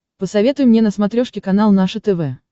посоветуй мне на смотрешке канал наше тв